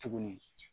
Tuguni